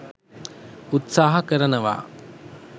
උත්සාහ කරනවා